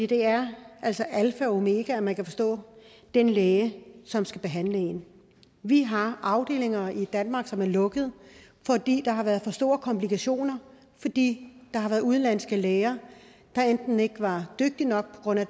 det er altså alfa og omega at man kan forstå den læge som skal behandle en vi har afdelinger i danmark som er blevet lukket fordi der har været for store komplikationer fordi der har været udenlandske læger der enten ikke var dygtige nok på grund af